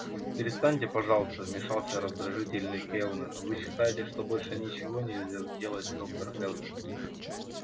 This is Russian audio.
перестаньте пожалуйста вмешался раздражительный кэллнер вы считаете что больше ничего нельзя сделать доктор кэлвин